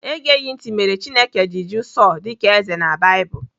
Egeghị ntị mere Chineke ji jụụ Sọl dịka eze na Baịbụl.